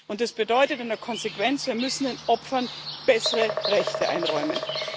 Und das bedeutet in der Konsequenz Wir müssen den Opfern bessere Rechte einräumen.